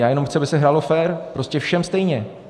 Já jenom chci, aby se hrálo fér, prostě všem stejně.